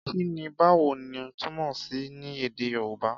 Kí ni Báwo ni? túmọ̀ sí ní Èdè Yorùbá?